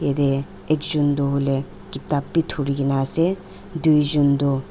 yete ekjun du huileh kitab bi dhurigina asey duijun du--